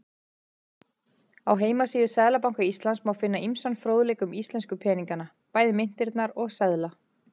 Á heimasíðu Seðlabanka Íslands má finna ýmsan fróðleik um íslensku peningana, bæði myntirnar og seðla.